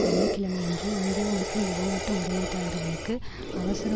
வெள்ளி கிழமையன்று இந்திய மற்றும் வெளிநாட்டு முதலீட்டாளர்களுக்கு அவசர